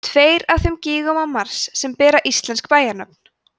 tveir af þremur gígum á mars sem bera íslensk bæjarnöfn